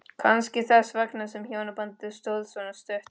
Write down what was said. Kannski þess vegna sem hjónabandið stóð svona stutt.